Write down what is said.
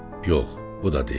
Yox, bu da deyil.